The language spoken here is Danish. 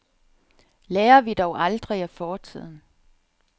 Lærer vi dog aldrig af fortiden?